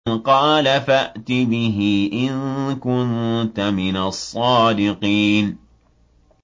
قَالَ فَأْتِ بِهِ إِن كُنتَ مِنَ الصَّادِقِينَ